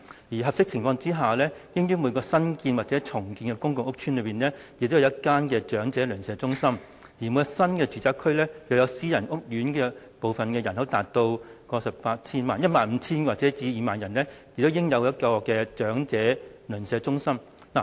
而在合適情況下，應於每個新建或重建的公共屋邨設有一間長者鄰舍中心；而每個新住宅區，若其私人屋苑部分的人口達15000至20000人，亦應設有一間長者鄰舍中心。